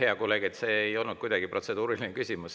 Hea kolleeg, see ei olnud protseduuriline küsimus.